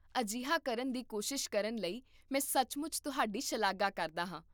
ਅਜਿਹਾ ਕਰਨ ਦੀ ਕੋਸ਼ਿਸ਼ ਕਰਨ ਲਈ ਮੈਂ ਸੱਚਮੁੱਚ ਤੁਹਾਡੀ ਸ਼ਲਾਘਾ ਕਰਦਾ ਹਾਂ